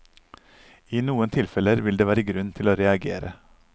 I noen tilfeller vil det være grunn til å reagere.